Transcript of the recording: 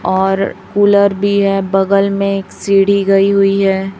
और कूलर भी है बगल में एक सीढ़ी गई हुई है।